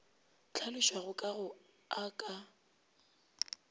hlalošwago ka go a ka